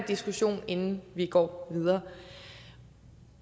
diskussion inden vi går videre